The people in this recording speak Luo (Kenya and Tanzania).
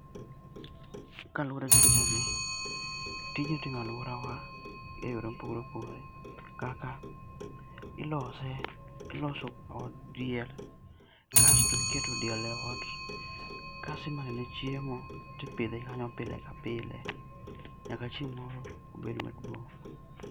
Kaluore gi pichani tijni itimo e aluorawa e yore ma opogore opogore. Kaka ilose, iloso od diel kasto iketo diel e ot kasto imanyone chiemo tipidhe kanyo pile ka pile nyaka chieng moro obed maduong